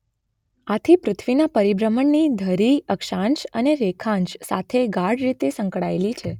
આથી પૃથ્વીના પરિભ્રમણની ધરી અક્ષાંશ અને રેખાંશ સાથે ગાઢ રીતે સંકળાયેલી છે.